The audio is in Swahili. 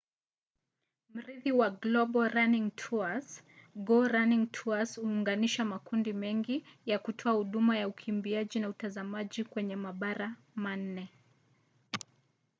mrithi wa global running tours go running tours huunganisha makundi mengi ya kutoa huduma ya ukimbiaji na utazamaji kwenye mabara manne